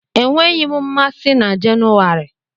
Enweghị m mmasị na Jenuwari